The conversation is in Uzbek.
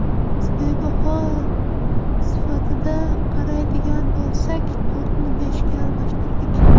Biz baho sifatida qaraydigan bo‘lsak, to‘rtni beshga almashtirdik.